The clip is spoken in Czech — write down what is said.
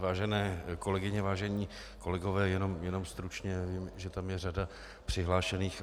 Vážené kolegyně, vážení kolegové, jenom stručně, vím, že tam je řada přihlášených.